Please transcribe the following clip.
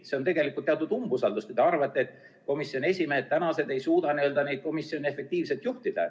See on tegelikult teatud umbusaldus, kui te arvate, et praegused komisjoni esimehed ei suuda neid komisjone efektiivselt juhtida.